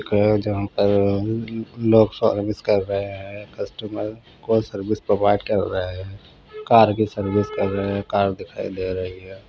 Car चार पांच लोग सर्विस कर रहे है कस्टमर प्रोवाइड कर रहे है कार की सर्विसिंग कर रहे है कार दिखाई दे रही है।